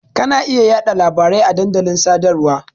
Ka na iya yaɗa labari a dandalin sadarwa.